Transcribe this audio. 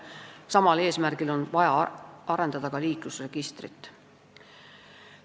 Samal eesmärgil on vaja arendada ka liiklusregistrit.